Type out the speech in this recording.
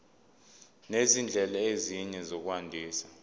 nezindlela ezinye zokwandisa